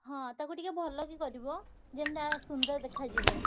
ହଁ ତାକୁ ଟିକେ ଭଲ କି କରିବ। ଯେମିତି ଆ ସୁନ୍ଦର ଦେଖାଯିବ।